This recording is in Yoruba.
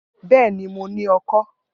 Bẹẹni, Mo ni ọkọ́.